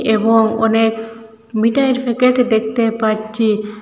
এবং অনেক মিটাইয়ের প্যাকেট দেখতে পারচি।